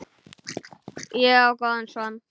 Ég á góðan son.